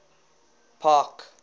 park